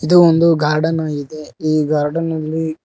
ಇದು ಒಂದು ಗಾರ್ಡನ್ ಆಗಿದೆ ಈ ಗಾರ್ಡನ್ ಅಲ್ಲಿ--